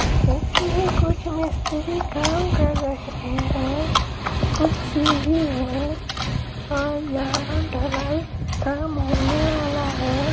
इसमें कुछ मिस्री काम कर रहे हैं कुछ सीढ़ी है और यहां ढ़लाई काम होने वाला है।